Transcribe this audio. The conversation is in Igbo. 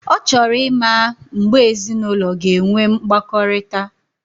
Ochoro imma mgeb ezi na ulo ga enwe mgbakorita.